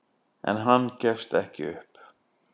En hann gefst ekki upp.